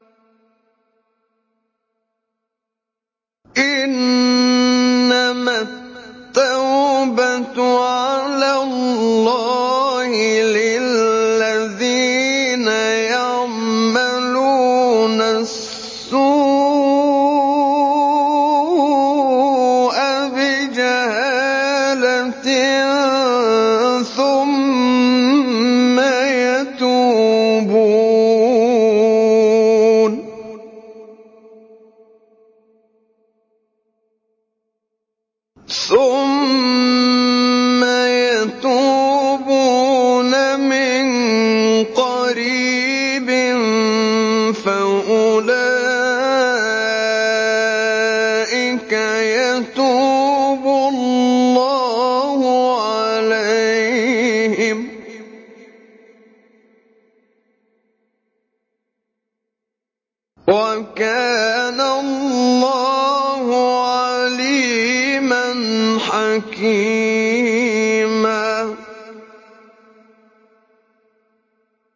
إِنَّمَا التَّوْبَةُ عَلَى اللَّهِ لِلَّذِينَ يَعْمَلُونَ السُّوءَ بِجَهَالَةٍ ثُمَّ يَتُوبُونَ مِن قَرِيبٍ فَأُولَٰئِكَ يَتُوبُ اللَّهُ عَلَيْهِمْ ۗ وَكَانَ اللَّهُ عَلِيمًا حَكِيمًا